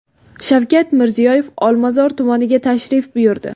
Shavkat Mirziyoyev Olmazor tumaniga tashrif buyurdi.